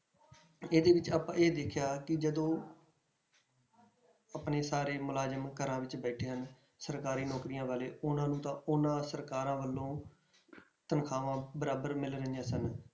ਇਹਦੇ ਵਿੱਚ ਆਪਾਂ ਇਹ ਦੇਖਿਆ ਕਿ ਜਦੋਂ ਆਪਣੇ ਸਾਰੇ ਮੁਲਾਜ਼ਮ ਘਰਾਂ ਵਿੱਚ ਬੈਠਿਆਂ ਹੀ ਸਰਕਾਰੀ ਨੌਕਰੀਆਂ ਵਾਲੇ ਉਹਨਾਂ ਨੂੰ ਤਾਂ ਉਹਨਾਂ ਸਰਕਾਰਾਂ ਵੱਲੋਂ ਤਨਖਾਹਾਂ ਬਰਾਬਰ ਮਿਲ ਰਹੀਆਂ ਸਨ।